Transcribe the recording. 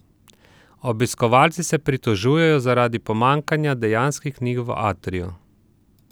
Obiskovalci se pritožujejo zaradi pomanjkanja dejanskih knjig v atriju.